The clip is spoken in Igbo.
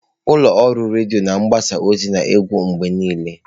Ụlọ ọrụ redio na-agbasa ozi na egwu mgbe niile.